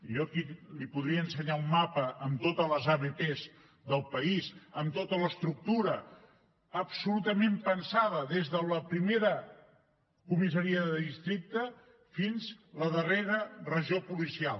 jo aquí li podria ensenyar un mapa amb totes les abp del país amb tota l’estructura absolutament pensada des de la primera comissaria de districte fins a la darrera regió policial